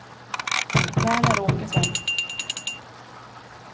Verner Åkesson